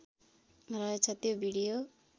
रहेछ त्यो भिडियो